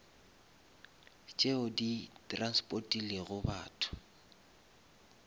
tšeo di transportilego batho